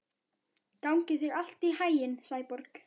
Gangi þér allt í haginn, Sæborg.